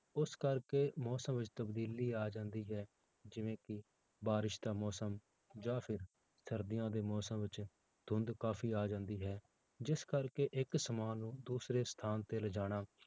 ਉਸ ਕਰਕੇ ਮੌਸਮ ਵਿੱਚ ਤਬਦੀਲੀ ਆ ਜਾਂਦੀ ਹੈ, ਜਿਵੇਂ ਕਿ ਬਾਰਿਸ਼ ਦਾ ਮੌਸਮ ਜਾਂ ਫਿਰ ਸਰਦੀਆਂ ਦੇ ਮੌਸਮ ਵਿੱਚ ਧੁੰਦ ਕਾਫ਼ੀ ਆ ਜਾਂਦੀ ਹੈ, ਜਿਸ ਕਰਕੇ ਇੱਕ ਸਮਾਨ ਨੂੰ ਦੂਸਰੇ ਸਥਾਨ ਤੇ ਲਿਜਾਣਾ,